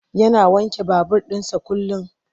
Yana wanke babur ɗinsa kullum.